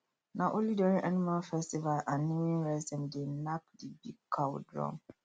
na only during animal festival and naming rites them dey knack the big cow drum